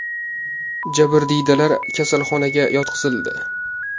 Jabrdiydalar kasalxonaga yotqizildi.